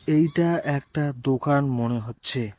এইটা একটা দোকান মনে হচ্ছে।